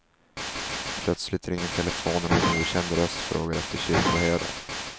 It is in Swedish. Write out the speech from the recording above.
Plötsligt ringer telefonen och en okänd röst frågar efter kyrkoherden.